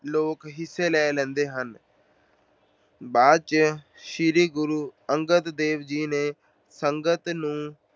ਲੋਕ ਹਿੱਸਾ ਲੈਂਦੇ ਹਨ। ਬਾਅਦ ਵਿੱਚ ਸ਼੍ਰੀ ਗੁਰੂ ਅੰਗਦ ਦੇਵ ਜੀ ਨੇ ਸੰਗਤ ਨੂੰ